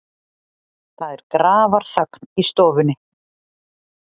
Það er grafarþögn í stofunni.